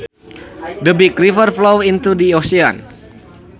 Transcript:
The big river flows into the ocean